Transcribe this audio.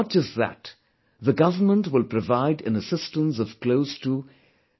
Not just that, the government will provide an assistance of close to Rs